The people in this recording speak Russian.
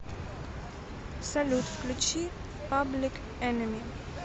салют включи паблик энеми